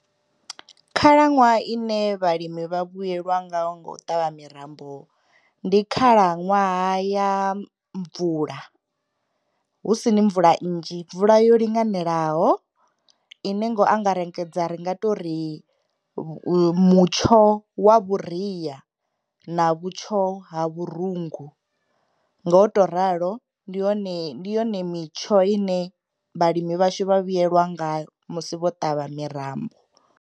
Khalaṅwaha ine vhalimi vha vhuyelwa nga u ṱavha mirambo ndi khalaṅwaha ya mvula hu si ni mvula nnzhi, mvula yo linganelaho, ine ngo angarengedza ri nga tori mutsho wa vhuria na vhutsho ha vhurungu ngoto ralo ndi hone, ndi yone mitsho ine vhalimi vhashu vha vhuyelwa ngayo musi vho ṱavha mirambo.